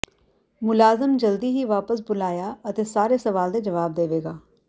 ਮੁਲਾਜ਼ਮ ਜਲਦੀ ਹੀ ਵਾਪਸ ਬੁਲਾਇਆ ਅਤੇ ਸਾਰੇ ਸਵਾਲ ਦੇ ਜਵਾਬ ਦੇਵੇਗਾ